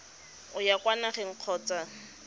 o ya kwa nageng kgotsa